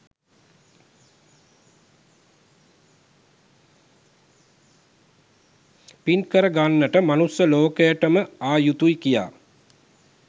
පින් කර ගන්නට මනුස්ස ලෝකයටම ආ යුතුයි කියා.